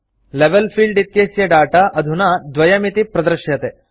level field इत्यस्य data अधुना 2 इति प्रदृश्यते